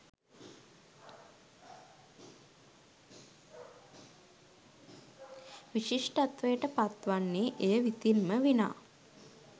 විශිෂ්ටත්වයට පත් වන්නේ එය විසින් ම විනා